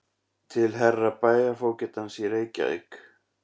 Til Herra Bæjarfógetans í Reykjavík